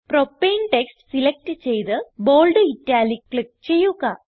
propane text select ചെയ്ത് bold italic click ചെയ്യുക